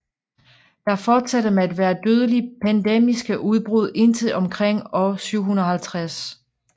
Der fortsatte med at være dødelige pandemiske udbrud indtil omkring år 750